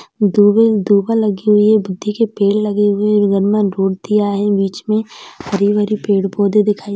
दुबे-दुबा लगे हुए हैं बुद्धि के पेड़ लगे हुए हैं बगल में रोड दिया है बीच मे हरी-भरी पेड़-पौधे दिखाई --